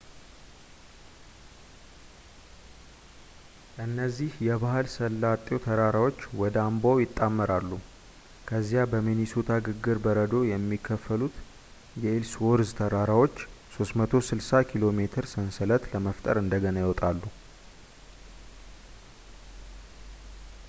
እዚህ የባህር ሰላጤው ተራራዎች ወደ አምባው ይጣመራሉ ከዚያ በሚኒሶታ ግግር በረዶ የሚከፈሉት የኢልስዎርዝ ተራራዎችን 360 ኬሜ ሰንሰለት ለመፍጠር እንደገና ይወጣሉ